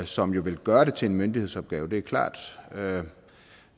som jo vil gøre det til en myndighedsopgave det er klart